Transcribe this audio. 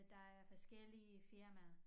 Der er forskellige firmaer